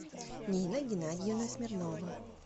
нина геннадьевна смирнова